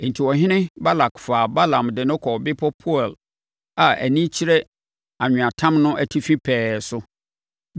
Enti, ɔhene Balak faa Balaam de no kɔɔ bepɔ Peor a ani kyerɛ anweatam no atifi pɛɛ so.